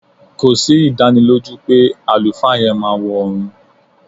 Kò sí ìdánilójú pé àlùfáà yẹn máa wọ ọ̀ọ̀run